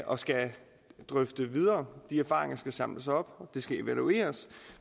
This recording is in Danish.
og skal drøfte videre og de erfaringer skal samles op og det skal evalueres